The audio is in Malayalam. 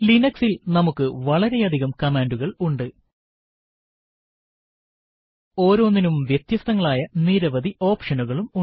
Linux ൽ നമുക്ക് വളരെയധികം കമാൻഡുകൾ ഉണ്ട് ഓരോന്നിനും വ്യത്യസ്തങ്ങളായ നിരവധി ഓപ്ഷനുകളും ഉണ്ട്